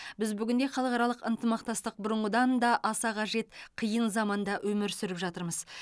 біз бүгінде халықаралық ынтымақтастық бұрынғыдан да аса қажет қиын заманда өмір сүріп жатырмыз